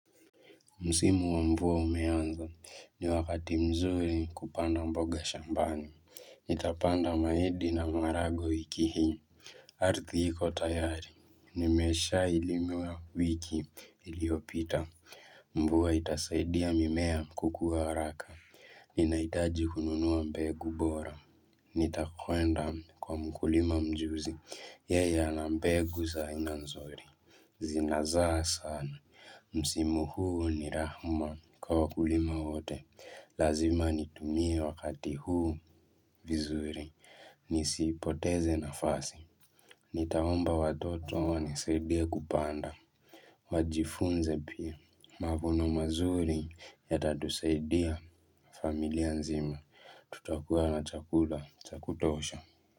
Msimu wa mvua umeanza ni wakati mzuri kupanda mboga shambani Itapanda mahindi na maharagwe wiiki hii Ardhi iko tayari nimeshailimwa wiki iliyopita Mvua itasaidia mimea kukuwa haraka Ninahitaji kununua mbegu bora Nitakwenda kwa mkulima mjuzi yeye ana mbegu za aina nzuri Zinazaa sana, msimu huu ni raha kwa wakulima wote Lazima nitumie wakati huu vizuri, nisipoteze nafasi Nitaomba watoto wanisaidie kupanda wajifunze pia, mavuno mazuri ya tatusaidia familia nzima, tutakuwa na chakula, zakutosha.